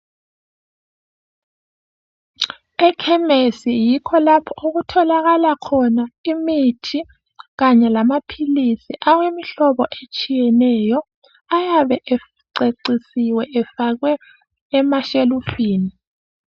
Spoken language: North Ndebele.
Ekhemesi yikho lapho okutholakala khona imithi kanye lamaphilisi awemihlobo etshiyeneyo . Ayabe ececisiwe efakwe emashelufini.